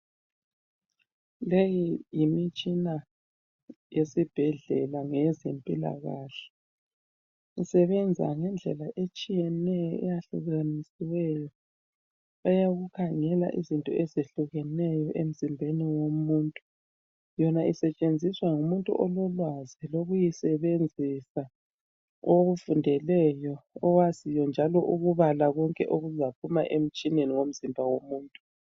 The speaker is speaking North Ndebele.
Leyi yimi tshina yesibhedlela ngeyezempilakahle. Isebenza ngendlela etshiyeneyo eyahlukeneyo eyakukhangela izinto ezehlukeneyo emzimbeni womuntu. Yona isetshenziswa ngumuntu ololwazi ukuyisebenzisa okufundeleyo. Owaziyo njalo ukubala konke okuzaphuma emtshineni womzimba womuntu.